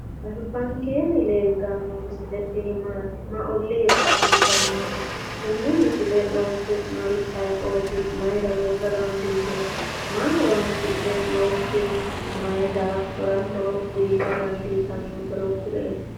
Albankeennni leeltanno misile tini maati? may ollira afantannote? tenne misile loosinori ayeeoti? mayiira loosa dandiitino? maa horonsi'dhe loossino? maay daafira horo uyta dandiitannoro kulie